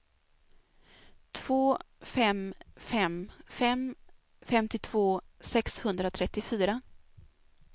två fem fem fem femtiotvå sexhundratrettiofyra